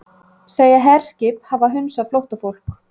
Segja herskip hafa hunsað flóttafólk